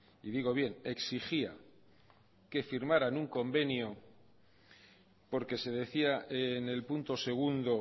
y digo bien exigía que firmaran un convenio porque se decía en el punto segundo